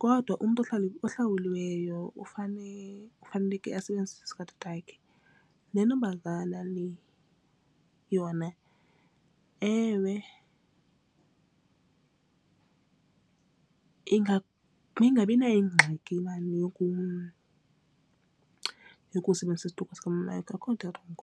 Kodwa umntu ohlawulwayo ufaneleke asebenzise esikatatakhe. Le ntombazana le yona ewe ingabi nayingxaki yokusebenzisa isiduko sikamama wakhe akukho nto irongo.